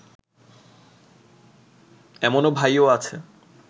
এমন ভাইও আছে